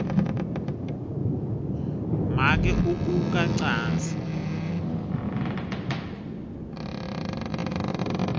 make ukuka wcansi